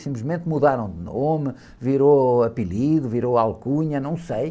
Simplesmente mudaram o nome, virou apelido, virou alcunha, não sei.